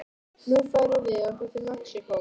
Nú færum við okkur til Mexíkó.